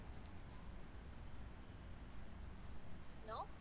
Hello.